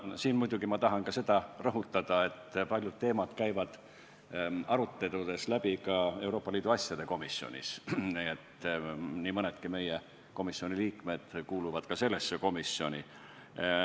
Aga siin muidugi tahan ma rõhutada seda, et paljud teemad käivad aruteludes läbi Euroopa Liidu asjade komisjonis ja nii mõnedki meie komisjoni liikmed kuuluvad ka sellesse komisjoni.